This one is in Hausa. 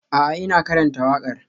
A'a, ina karanta waƙar.